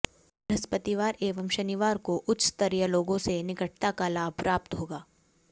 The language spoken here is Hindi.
बृहस्पतिवार एवं शनिवार को उच्च स्तरीय लोगों से निकटता का लाभ प्राप्त होगा